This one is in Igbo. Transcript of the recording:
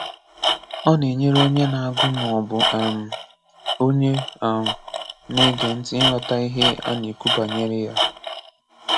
Ọ na-enyere onye na-agu ma ọ bụ um onye um na-ege nti ịghọta ihe a na-ekwu banyere ya.